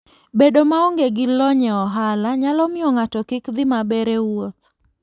Bedo maonge gi lony e ohala nyalo miyo ng'ato kik dhi maber e wuoth.